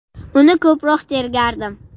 Uni ko‘proq tergardim.